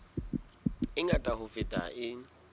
e ngata ho feta e